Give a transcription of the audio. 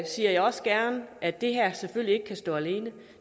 siger jeg også gerne at det her selvfølgelig ikke kan stå alene